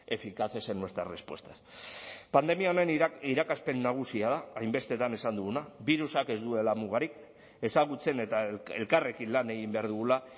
eficaces en nuestras respuestas pandemia honen irakaspen nagusia da hainbestetan esan duguna birusak ez duela mugarik ezagutzen eta elkarrekin lan egin behar dugula